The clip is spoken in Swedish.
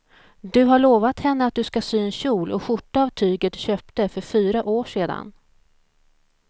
Du har lovat henne att du ska sy en kjol och skjorta av tyget du köpte för fyra år sedan.